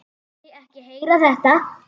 Vildi ekki heyra þetta!